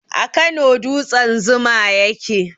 A Kano dutsen zuma ya ke?